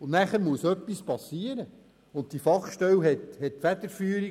Und dann muss etwas passieren, und die Fachstelle hat die Federführung;